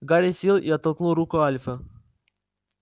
гарри сел и оттолкнул руку альфа